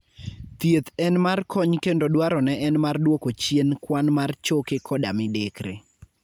Thieth en mar kony kendo dwarone en mar duoko chien kwan mar choke koda midekre.